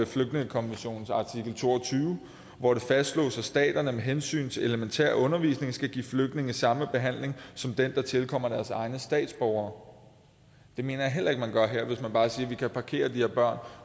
flygtningekonventionens artikel to og tyve hvor det fastslås at staterne med hensyn til elementær undervisning skal give flygtninge samme behandling som den der tilkommer deres egne statsborgere det mener jeg heller ikke man gør her hvis man bare siger vi kan parkere de her børn